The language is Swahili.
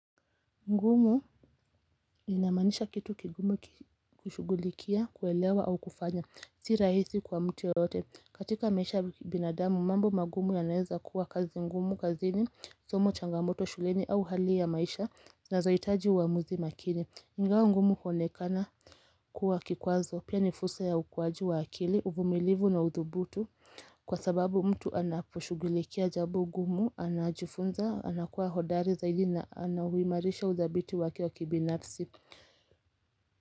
Ngumu inamaanisha kitu kigumu kushugulikia, kuelewa au kufanya, si rahisi kwa mtu yoyote. Katika maisha binadamu, mambo magumu yanaweza kuwa kazi ngumu, kazini, somo changamoto, shuleni au hali ya maisha zinazohitaji uamuzi makini. Ingawa ngumu kuonekana kuwa kikwazo, pia ni fursa ya ukuaji wa akili, uvumilivu na udhubutu. Kwa sababu mtu anaposhugulikia jambo gumu, anajifunza, anakuwa hodari zaidi na anauimarisha udhabiti wake wakibinafsi.